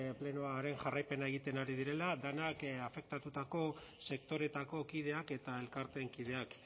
plenoaren jarraipena egiten ari direla denak afektatutako sektoreetako kideak eta elkarteen kideak